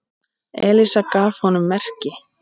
Elísa gaf honum merki.